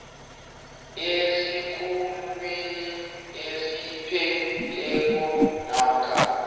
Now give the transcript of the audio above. esikhulwini esiphetheko namkha